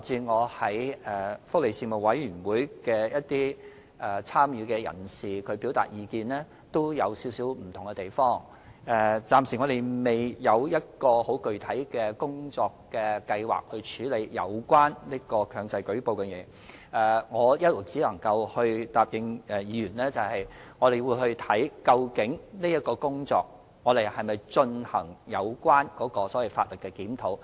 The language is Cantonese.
我們暫時仍未有很具體的工作計劃處理有關強制性舉報的建議。只能夠答應議員，我們會就這項工作研究是否有需要進行法例檢討。